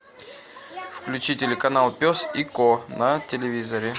включи телеканал пес и ко на телевизоре